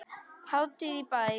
Hátíð í bæ